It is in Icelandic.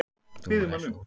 Dúi, læstu útidyrunum.